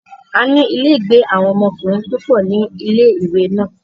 A ní ilé-ìgbé àwọn ọmọkùnrin púpọ̀ ní ilé-ìwé náà.